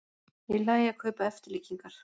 Í lagi að kaupa eftirlíkingar